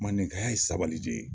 Mandenkaya ye sabali de ye.